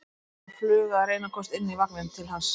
En það var fluga að reyna að komast inn í vagninn til hans.